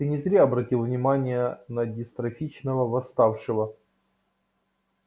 ты не зря обратил внимание на дистрофичного восставшего